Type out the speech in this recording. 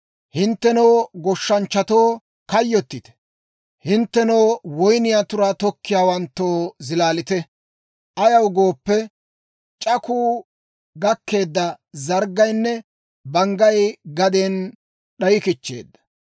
Hinttenoo goshshanchchatoo, kayyottite! Hinttenoo, woyniyaa turaa tokkiyaawanttoo, zilaalite! Ayaw gooppe, c'akku gakkeedda zarggaynne banggay gaden d'ayikichcheedda.